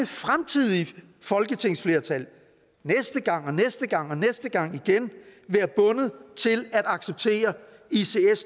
fremtidige folketingsflertal næste gang og næste gang og næste gang igen være bundet til at acceptere ics